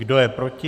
Kdo je proti?